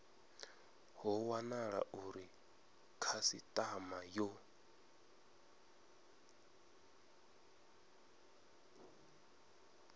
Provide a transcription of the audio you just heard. ho wanala uri khasitama yo